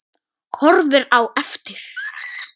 Horfir á eftir